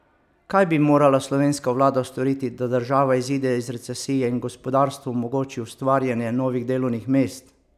Kaj bi morala slovenska vlada storiti, da država izide iz recesije in gospodarstvu omogoči ustvarjanje novih delovnih mest?